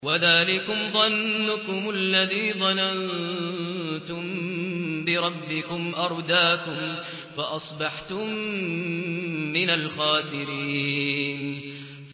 وَذَٰلِكُمْ ظَنُّكُمُ الَّذِي ظَنَنتُم بِرَبِّكُمْ أَرْدَاكُمْ فَأَصْبَحْتُم مِّنَ الْخَاسِرِينَ